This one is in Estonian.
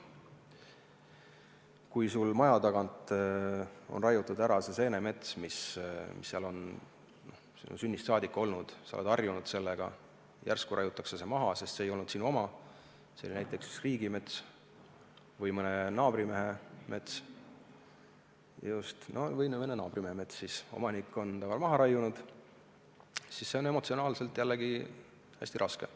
Kui su maja tagant raiutakse maha seenemets, mis on seal sinu sünnist saadik olnud – sa oled sellega harjunud ja järsku raiutakse see maha, sest see ei olnud sinu oma, see oli näiteks riigimets või mõne naabrimehe mets, mille omanik otsustas maha võtta –, siis on see emotsionaalselt hästi raske.